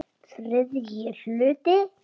ÞRIðJI HLUTI